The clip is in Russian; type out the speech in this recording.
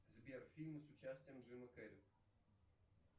сбер фильмы с участием джима керри